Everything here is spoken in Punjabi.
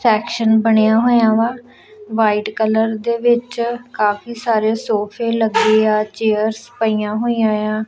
ਐਕਸ਼ਨ ਬਣਿਆ ਹੋਇਆ ਵਾ ਵਾਈਟ ਕਲਰ ਦੇ ਵਿੱਚ ਕਾਫੀ ਸਾਰੇ ਸੋਫੇ ਲੱਗੇ ਆ ਚੇਅਰਸ ਪਈਆਂ ਹੋਈਆਂ ਆ।